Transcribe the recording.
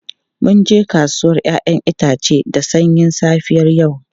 Mun je kasuwar 'ya'yan itace da sanyin safiyar yau.